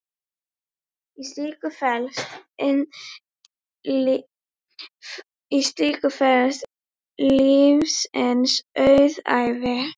Í slíku felast lífsins auðæfi.